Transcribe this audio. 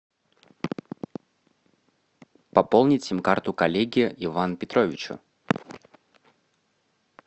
пополнить сим карту коллеге ивану петровичу